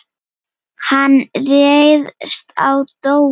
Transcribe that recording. Hann réðst á Dóra.